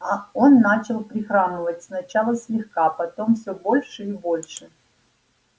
он начал прихрамывать сначала слегка потом всё больше и больше